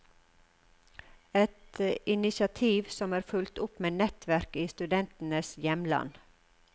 Et initiativ som er fulgt opp med nettverk i studentenes hjemland.